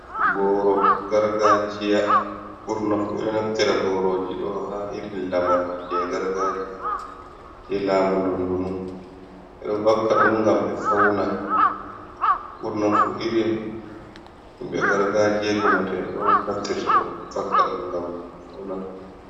Boro gargajiya burnafu ɓe naftira boroji ɗo ha irin lamarji je gargajiya je lamu donndunu. Ɓe ɗo vakka ɗum gam ɓe fauna, burnafu irin himbe gargajie omotebe do naftirta den vakka dum gambe fauna.